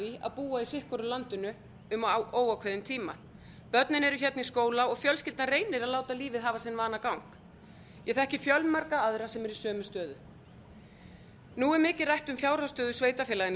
því að búa í sitt hvoru landinu um óákveðinn tíma börnin eru hérna í skóla og fjölskyldan reynir að láta lífið hafa sinn vanagang ég þekki fjölmarga aðra sem eru í sömu stöðu nú er mikið rætt um fjárhagsstöðu sveitarfélaganna í